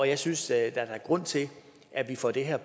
jeg synes at der er grund til at vi får det her